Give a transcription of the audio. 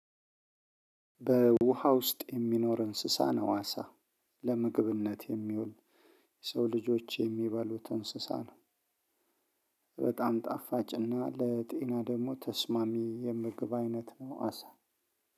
በውሃ ውስጥ የሚኖር እንስሳ ነው አሳ ለምግብነት የሚውል የሰው ልጆች የሚበሉት እንስሳ ነው። በጣም ጣፋጭ እና ለጤና ደግሞ ተስማሚ የምግብ አይነት ነው አሳ